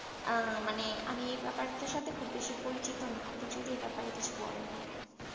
আহ মানে আমি এই বেপারটার সাথে খুব বেশি পরিচিত না আপনি যদি এই ব্যাপারে কিছু বলেন আমাকে